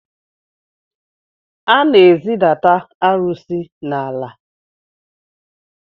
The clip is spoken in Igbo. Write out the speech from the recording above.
A na-ezidata arụsị n’ala